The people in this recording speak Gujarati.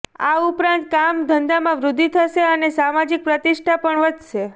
આ ઉપરાંત કામ ધંધામાં વૃદ્ધિ થશે અને સામાજિક પ્રતિષ્ઠા પણ વધશે